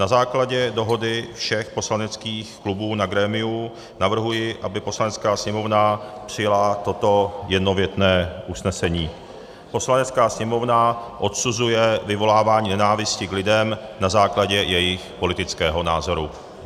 Na základě dohody všech poslaneckých klubů na grémiu navrhuji, aby Poslanecká sněmovna přijala toto jednověté usnesení: "Poslanecká sněmovna odsuzuje vyvolávání nenávisti k lidem na základě jejich politického názoru."